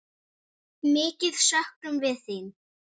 Mikið söknum við þín.